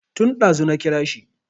Tun ɗazu na kira shi